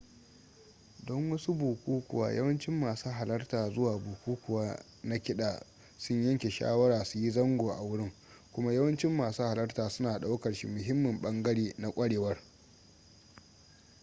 don wasu bukukuwa yawancin masu halarta zuwa bukukuwa na kiɗa sun yanke shawara su yi zango a wurin kuma yawancin masu halarta suna ɗaukar shi muhimmin ɓangare na ƙwarewar